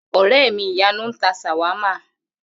Ò̩ré̩ mi Ìyanu ń ta s̩àwámà